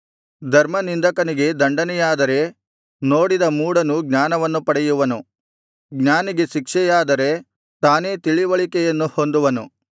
ಧರ್ಮನಿಂದಕನಿಗೆ ದಂಡನೆಯಾದರೆ ನೋಡಿದ ಮೂಢನೂ ಜ್ಞಾನವನ್ನು ಪಡೆಯುವನು ಜ್ಞಾನಿಗೆ ಶಿಕ್ಷೆಯಾದರೆ ತಾನೇ ತಿಳಿವಳಿಕೆಯನ್ನು ಹೊಂದುವನು